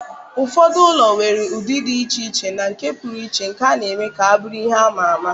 Ụfọdụ ụlọ nwere ụdị dị iche iche na nke pụrụ iche nke na-eme ka ha bụrụ ihe ama ama